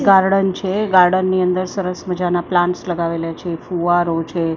Garden છે. Garden ની અંદર સરસ મજાના પ્લાન્ટ્સ લગાવેલા છે ફુવારો છે--